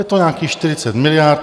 Je to nějakých 40 miliard.